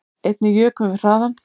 Einnig jukum við hraðann